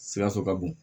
Sikaso ka bon